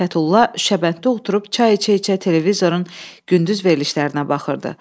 Fətulla şabənddə oturub çay içə-içə televizorun gündüz verilişlərinə baxırdı.